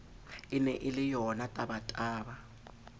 e ne e le yonatabataba